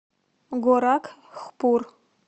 горакхпур